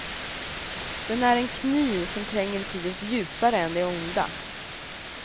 Den är en kniv som tränger betydligt djupare än det onda.